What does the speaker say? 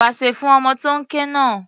Pasẹ̀ fún ọmọ tó ń ké náà.